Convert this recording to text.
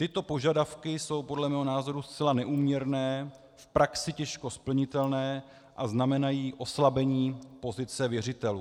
Tyto požadavky jsou podle mého názoru zcela neúměrné, v praxi těžko splnitelné a znamenají oslabení pozice věřitelů.